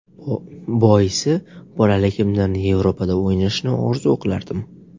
Boisi bolaligimdan Yevropada o‘ynashni orzu qilardim.